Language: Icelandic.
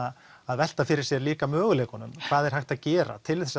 velta fyrir sér líka möguleikunum hvað er hægt að gera til